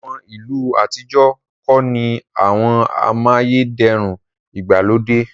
àwọn ilu atijọ ko ni àwọn amayederun igbalode..